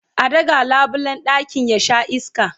an ɗaga labulen ɗakin ya Sha iska